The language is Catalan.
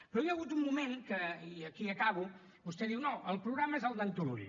però hi ha hagut un moment en què i aquí acabo vostè diu no el programa és el d’en turull